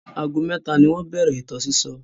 Ago mẹ́ta ni wọ́n bẹ̀rẹ̀ ìtàn sísọ.